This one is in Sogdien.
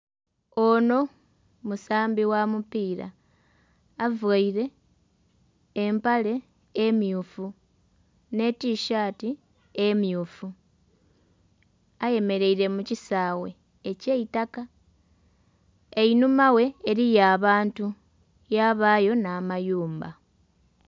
Onho musambi gha mupira avaire empale emyufu nhe tisaati emyufu ayemereire mu kisaghe ekye itaka, einhuma ghe eriyo abantu yabayo nha mayumba.